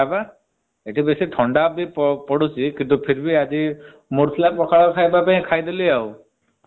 ପୁରା ଏକଦମ ଥଣ୍ଡା ବା ଏଠି ଥଣ୍ଡା ବି ପଡୁଛି mood ଥିଲା ପଖାଳ ଖାଇବାକୁ ଖାଇଦେଲି ଆଉ।